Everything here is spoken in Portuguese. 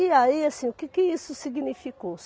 E aí, assim, o que que isso significou?